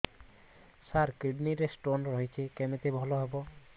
ସାର kidney ରେ stone ହେଇଛି କମିତି ଭଲ ହେବ